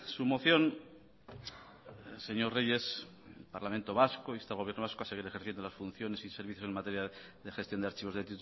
su moción señor reyes el parlamento vasco insta al gobierno vasco a seguir ejerciendo las funciones y servicios en materia de gestión de archivos de